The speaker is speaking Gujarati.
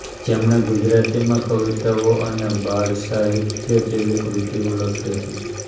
જેમણે ગુજરાતીમાં કવિતાઓ અને બાળસાહિત્ય જેવી કૃતિઓ લખી હતી